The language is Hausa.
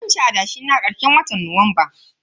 Zanci adashe na karshen watan Nuwamba.